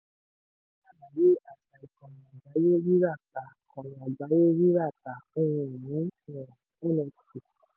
rọ́lákẹ́ ṣàlàyé àṣà ìkànì-àgbáyé rírà/tà ìkànì-àgbáyé rírà/tà ohun-ìní um nft